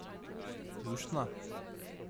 Luštna?